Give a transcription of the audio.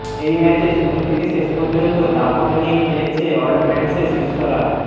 এই ম্যাচে শুরু থেকে শেষ পর্যন্ত দাপট নিয়ে খেলেছে অল্টম্যান্সের শিষ্যরা